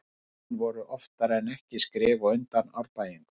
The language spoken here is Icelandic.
Heimamenn voru oftar en ekki skrefi á undan Árbæingum.